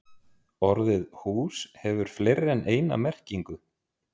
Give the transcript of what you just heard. Orðið hús hefur fleiri en eina merkingu.